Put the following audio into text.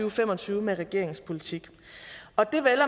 og fem og tyve med regeringens politik og det vel